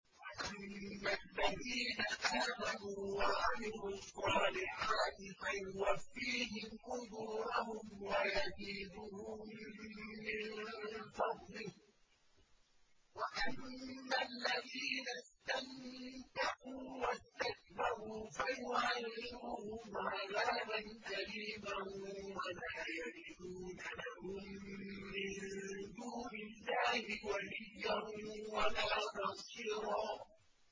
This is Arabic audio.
فَأَمَّا الَّذِينَ آمَنُوا وَعَمِلُوا الصَّالِحَاتِ فَيُوَفِّيهِمْ أُجُورَهُمْ وَيَزِيدُهُم مِّن فَضْلِهِ ۖ وَأَمَّا الَّذِينَ اسْتَنكَفُوا وَاسْتَكْبَرُوا فَيُعَذِّبُهُمْ عَذَابًا أَلِيمًا وَلَا يَجِدُونَ لَهُم مِّن دُونِ اللَّهِ وَلِيًّا وَلَا نَصِيرًا